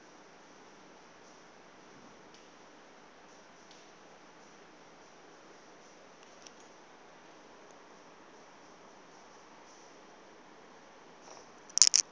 ya u bua hu tshi